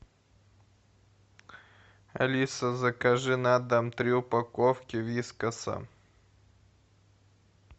алиса закажи на дом три упаковки вискаса